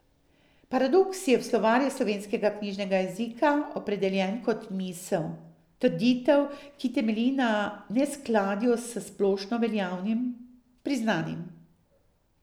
Paradoks je v Slovarju slovenskega knjižnega jezika opredeljen kot misel, trditev, ki temelji na neskladju s splošno veljavnim, priznanim.